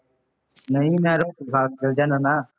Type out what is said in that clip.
ਨਹੀਂ ਮੈਂ ਰੱਖੂਗਾਂ ਅੱਜ ਦਾ ਦਿਨ ਨਾ